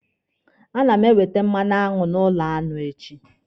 A ma ewete mmanụaṅụ n'ụlọ aṅụ echi.